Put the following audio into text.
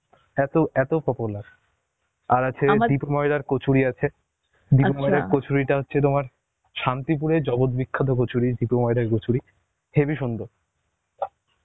এত এত popular, আর আছে দীপ ময়রার কচুরি আছে, ময়রার কচুরিটা হচ্ছে তোমার, শান্তিপুরের জগত বিখ্যাত কচুরি দীপ ময়রার কচুরি, হেবি সুন্দর